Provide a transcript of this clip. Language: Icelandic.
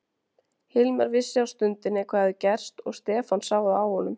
Hilmar vissi á stundinni hvað hafði gerst og Stefán sá það á honum.